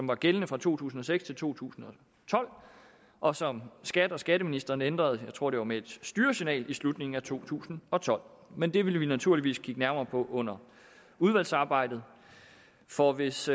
var gældende fra to tusind og seks til to tusind og tolv og som skat og skatteministeren ændrede jeg tror det var med et styresignal i slutningen af to tusind og tolv men det vil vi naturligvis kigge nærmere på under udvalgsarbejdet for hvis